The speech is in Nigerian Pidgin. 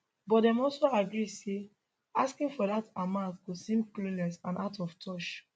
but dem also agree say asking for dat amount go seem clueless and out of touch